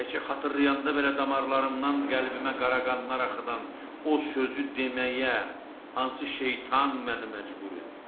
Təkcə xatırlayanda belə damarımdan qəlbimə qaraqanlar axıdan o sözü deməyə, hansı şeytan məni məcbur etdi?